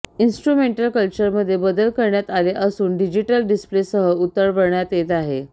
instrumental क्लचरमध्ये बदल करण्यात आले असून डिजीटल डिस्प्लेसह उतरवण्यात येत आहे